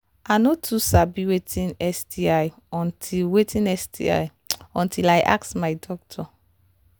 i no too sabi watin sti until watin sti until i ask my doctor